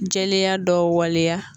Jɛlenya dɔ waleya